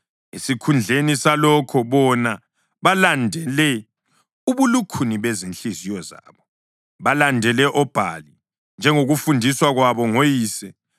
Esikhundleni salokho, bona balandele ubulukhuni bezinhliziyo zabo; balandele oBhali, njengokufundiswa kwabo ngoyise.”